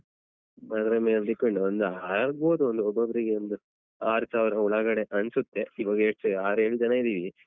ಅದ್ರ ಮೇಲ್ depend ಒಂದು ಆಗ್ಬಹುದು ಒಂದು ಒಬ್ಬ್ ಒಬ್ಬರಿಗೆ ಒಂದು ಆರು ಸಾವಿರ ಒಳಗಡೆ ಅನಿಸುತ್ತೆ ಈವಾಗ ಯೆಸ್ಟ್ ಆರು ಏಳ್ ಜನ ಇದ್ದೀವಿ.